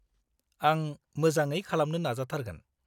आं मोजाङै खालामनो नाजाथारगोन।